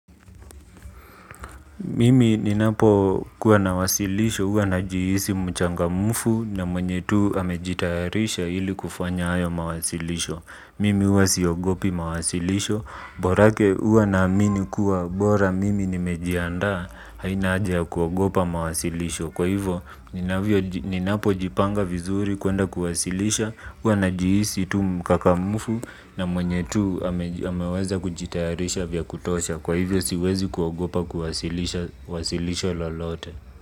Mimi ninapokuwa na wasilisho, huwa najihisi mchangamfu na mwenye tu amejitayarisha ili kufanya hayo mawasilisho. Mimi uwa siogopi mawasilisho, borake huwa naamini kuwa bora mimi nimejiandaa haina haja ya kuogopa mawasilisho. Kwa hivyo ninapojipanga vizuri kuenda kuwasilisha, huwa najihisi tu mkakamvu na mwenye tu ameweza kujitayarisha vya kutosha. Kwa hivyo siwezi kuogopa kuwasilisha lolote.